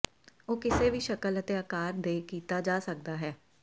ਉਹ ਕਿਸੇ ਵੀ ਸ਼ਕਲ ਅਤੇ ਆਕਾਰ ਦੇ ਕੀਤਾ ਜਾ ਸਕਦਾ ਹੈ